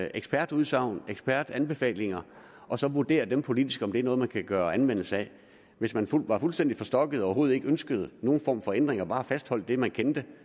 ekspertudsagn ekspertanbefalinger og så vurdere politisk om det er noget man kan gøre anvendelse af hvis man var fuldstændig forstokket og overhovedet ikke ønskede nogen form for ændringer men bare fastholdt det man kendte